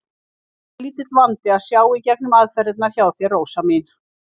Enda lítill vandi að sjá í gegnum aðferðirnar hjá þér, Rósa mín.